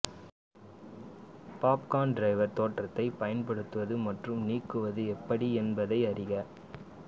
popcorn driver தோற்றத்தை பயன்படுத்துவது மற்றும் நீக்குவது எப்படி என்பதை அறிக